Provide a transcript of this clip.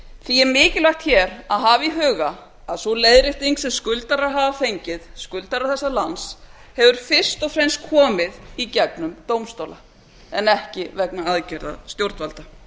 því er mikilvægt hér að hafa í huga að sú leiðrétting sem skuldarar hafa fengið skuldarar þessa lands hefur fyrst og fremst komið í gegnum dómstóla en ekki vegna aðgerða stjórnvalda